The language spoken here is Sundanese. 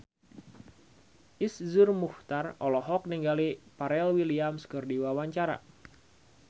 Iszur Muchtar olohok ningali Pharrell Williams keur diwawancara